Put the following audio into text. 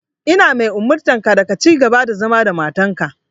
Ina umurtanka da ka cigaba da zama da matarka.